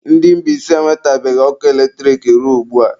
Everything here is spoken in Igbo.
Ndị Mbaise enwetebeghị ọkụ eletrik ruo ugbua.